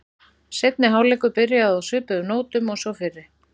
Seinni hálfleikur byrjaði á svipuðu nótum og sá fyrri.